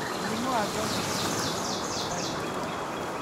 Mũrimũ wa ngothi ũrigitagwo nĩ mandagĩtarĩ anene